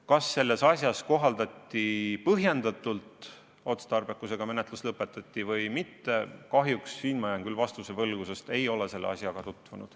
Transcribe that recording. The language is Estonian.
Kas selles asjas kohaldati seda põhjendatult, kas oli otstarbekas menetlus niimoodi lõpetada või mitte – kahjuks siin ma jään vastuse võlgu, sest ei ole selle asjaga tutvunud.